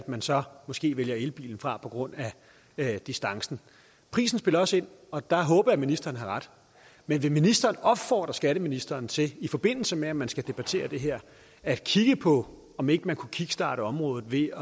man så måske vælger elbilen fra på grund af distancen prisen spiller også ind og der håber jeg ministeren har ret men vil ministeren opfordre skatteministeren til i forbindelse med at man skal debattere det her at kigge på om ikke man kunne kickstarte området ved